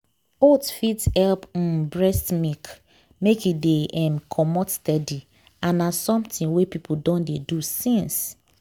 oats fit help um breast milk make e de um comot steady and na something wey people don dey do since